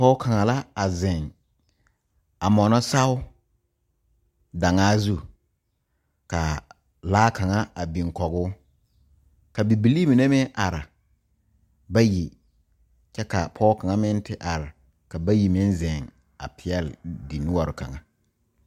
Pɔge kaŋa zeŋ a moɔno saao daŋa zu ka laa kaŋa a biŋ kɔge ka bibilee mine meŋ are bayi kyɛ ka pɔge kaŋa meŋ te are ka bayi meŋ zeŋ a pegle di noɔre kaŋa.